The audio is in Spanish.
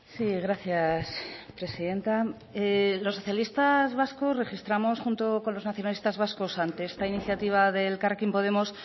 sí gracias presidenta los socialistas vascos registramos junto con los nacionalistas vascos ante esta iniciativa de elkarrekin podemos